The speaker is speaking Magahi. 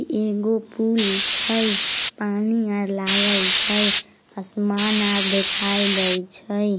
एगो पूल छै पानी आर लागल छै असमान आर देखाय देय छै।